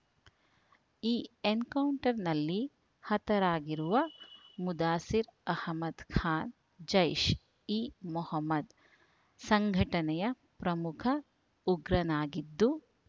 ಈ ಎನ್‌ಕೌಂಟರ್‌ನಲ್ಲಿ ಹತರಾಗಿರುವ ಮುದಾಸಿರ್ ಅಹಮದ್ ಖಾನ್ ಜೈಷ್ಇಮೊಹಮದ್ ಸಂಘಟನೆಯ ಪ್ರಮುಖ ಉಗ್ರನಾಗಿದ್ದು